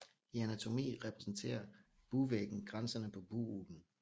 I anatomi repræsenterer bugvæggen grænserne på bughulen